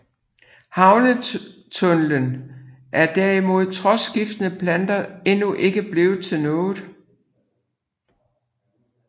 Havnetunnelen er derimod trods skiftende planer endnu ikke blevet til noget